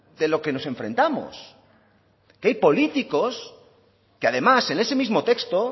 de lo que nos enfrentamos que hay políticos que además en ese mismo texto